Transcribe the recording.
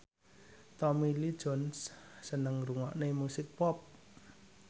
Tommy Lee Jones seneng ngrungokne musik pop